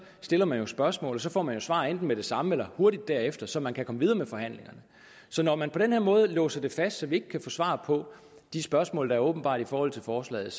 stiller man spørgsmål og så får man jo svar enten med det samme eller hurtigt derefter så man kan komme videre med forhandlingerne så når man på den her måde låser det fast så vi ikke kan få svar på de spørgsmål der er åbenbare i forhold til forslaget